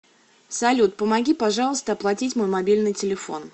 салют помоги пожалуйста оплатить мой мобильный телефон